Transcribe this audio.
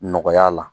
Nɔgɔya la